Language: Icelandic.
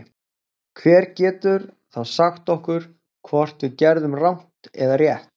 Hver getur þá sagt okkur hvort við gerðum rangt eða rétt?